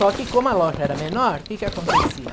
Só que como a loja era menor, o que que acontecia?